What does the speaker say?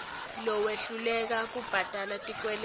lowehluleka kubhadala tikweleti